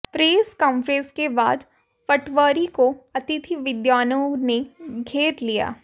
press conference के बाद पटवारी को अतिथि विद्वानों ने घेर लिया